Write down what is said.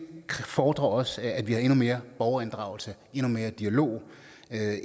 fordrer også at vi har endnu mere borgerinddragelse endnu mere dialog